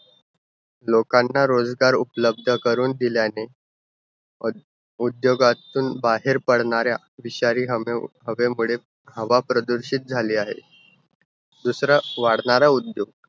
लोकांना रोजगार उपलब्ध करून दिल्याने, औ~ उद्योगातुन बाहेर पडणाऱ्या विषारी हवे~ हवेमुळे हवा प्रदूषित झाली आहे. दुसरा वाढणारा उद्योग